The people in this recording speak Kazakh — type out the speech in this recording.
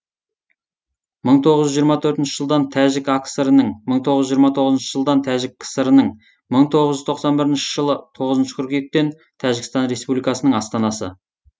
мың тоғыз жүз жиырма төртінші жылдан тәжік акср інің мың тоғыз жүз жиырма тоғызыншы жылдан тәжік кср інің мың тоғыз жүз тоқсан бірінші жылы тоғызыншы қыркүйектен тәжікстан республикасының астанасы